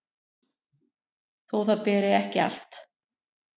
þó það beri ekki allt